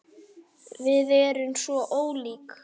Húð Heiðu stinn og ung.